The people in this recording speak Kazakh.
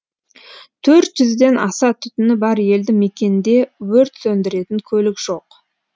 төрт жүзден аса түтіні бар елді мекенде өрт сөндіретін көлік жоқ